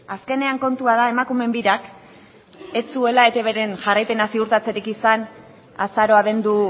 azkenean kontua da emakumeen birak ez zuela eitbren jarraipena ziurtatzerik izan azaro abendu